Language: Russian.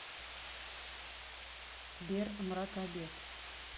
сбер мракобес